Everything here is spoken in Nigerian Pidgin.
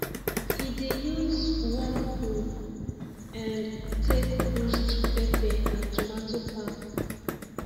he dey use worm poo um take boost pepper and tomato farm